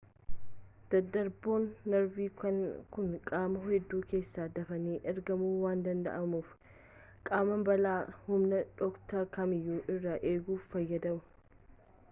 daddarboonni narvii kun qaama hunda keessa dafanii ergamuu waan danda'aniif qaama balaa humna dhokataa kamiyyuu irraa eeguuf fayyadu